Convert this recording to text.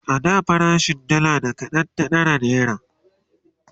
a da farashin dalla da kaɗan ta ɗara naira